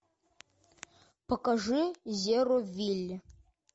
покажи зеровилль